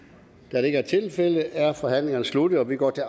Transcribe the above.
da det ikke er tilfældet er forhandlingen sluttet og vi går til